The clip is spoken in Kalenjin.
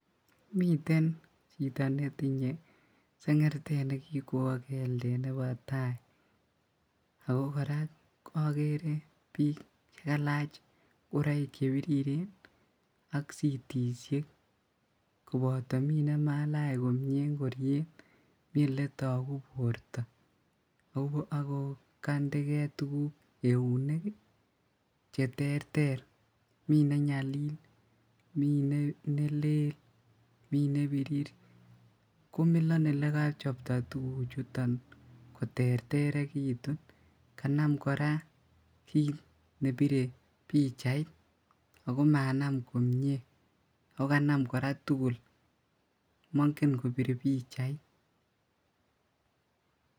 Miten chito netinye sengertet nekikwo keldet nebo taa, ako koraa okere bik chekalach ingoroik chebiriren ak sitisiek koboto minemalach komie ingoriet mi eletoku borto ako kondee kee tuguk eunek cheterter mi nenyalil, mi nelel ,mi nebirir komilon olekochopto tuguchuton koterterekitun kanam koraa kit nebire pichait ako manam komie ako kanam koraa tugul mongen kobir pichait.